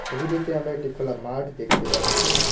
ছবিটিতে আমরা একটি খোলা মাঠ দেখতে পাচ্ছি।